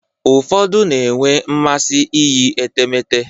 Ụfọdụ na-enwe mmasị iyi etemeete.